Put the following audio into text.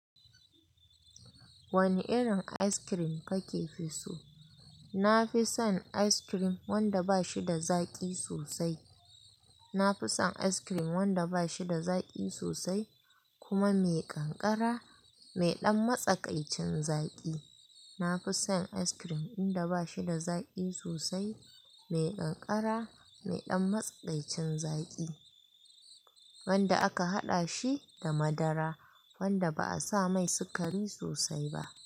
Wane irin ice cream kake fi so? Na fi son ice cream wanda ba shi da zaƙi sosai. Na fi son ice cream wanda ba shi da zaƙi sosai kuma mai ƙanƙara, mai ɗan matsakaicin zaƙi. Na fi son ice cream inda ba shi da zaƙi sosai, mai ƙanƙara, mai ɗan matsakaicin zaƙi wanda aka haɗa shi da madara, wanda ba a sa mai sukari sosai ba.